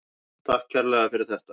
Takk kærlega fyrir þetta.